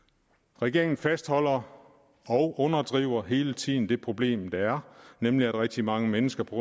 regeringen fastholder og underdriver hele tiden det problem der er nemlig at rigtig mange mennesker på